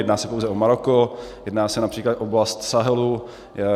Nejedná se pouze o Maroko, jedná se například o oblast Sahelu.